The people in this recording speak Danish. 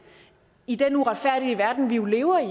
i den uretfærdige verden vi jo lever i